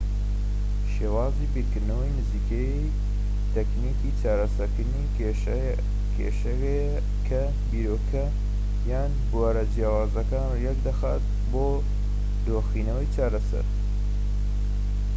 شێوازی بیرکردنەوەی نزیکەیی تەکنیکی چارەسەرکردنی کێشەیە کە بیرۆکە یان بوارە جیاوازەکان یەکدەخات بۆ دۆخینەوەی چارەسەر